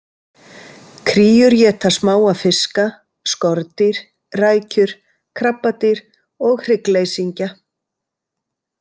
Kríur éta smáa fiska, skordýr, rækjur, krabbadýr og hryggleysingja.